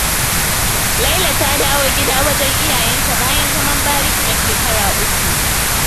Laila ta dawo gida wajen iyayenta, bayan zaman bariki na shekaru 3.